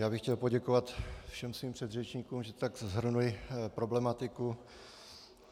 Já bych chtěl poděkovat všem svým předřečníkům, že tak shrnuli problematiku.